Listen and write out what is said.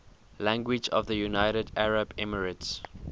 languages of the united arab emirates